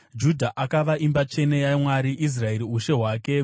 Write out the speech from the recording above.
Judha akava imba tsvene yaMwari, Israeri ushe hwake.